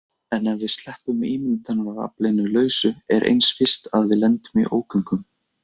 En ef við sleppum ímyndunaraflinu lausu er eins víst að við lendum í ógöngum.